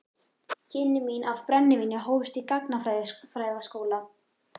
Kynni mín af brennivíni hófust í gagnfræðaskóla.